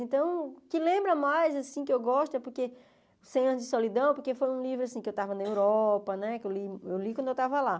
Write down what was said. Então, o que lembra mais assim que eu gosto é porque cem anos de Solidão, porque foi um livro que eu estava na Europa né, que eu li eu li quando eu estava lá.